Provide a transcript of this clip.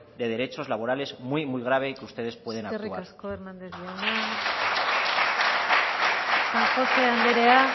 de derechos laborales muy grave y que ustedes pueden actuar eskerrik asko hernández jauna san josé andrea